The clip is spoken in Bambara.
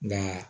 Nka